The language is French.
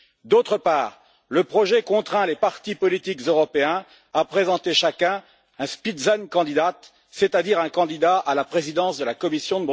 D'autre part, le projet contraint les partis politiques européens à présenter chacun un Spitzenkandidat c'est à dire un candidat à la présidence de la Commission.